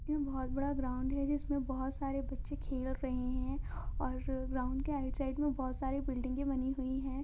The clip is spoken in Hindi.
ये बहुत बड़ा ग्राउंड हैं जिसमे बहुत सारे बच्चे खेल रहे हैं और ग्राउंड की राइट साइड में बहुत सारे बिल्डिंग बनी हुई हैं।